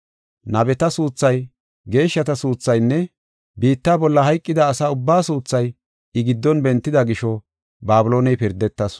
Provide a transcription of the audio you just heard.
Nabeta suuthay, geeshshata suuthaynne biitta bolla hayqida asa ubbaa suuthay I giddon bentida gisho Babilooney pirdetasu.